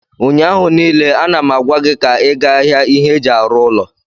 ụnyaahụ niile, ana m agwa gị ka ị gaa ahịa ihe eji arụ ụlọ!